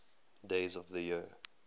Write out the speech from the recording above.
days of the year